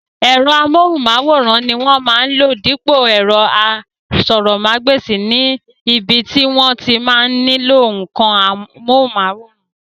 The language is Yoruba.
Ẹ̀rọ amóhùnmáwòrán ni wọ́n máa lò dípò ẹ̀rọ asọ̀rọ̀mágbèsì ní ibi tí wọ́n bá ti nílò ǹǹkan amóhùnmáwòrán